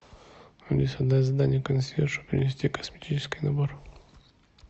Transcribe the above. алиса дай задание консьержу принести косметический набор